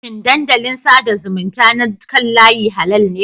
Shin dandalin sada zumunta na kan layi halal ne?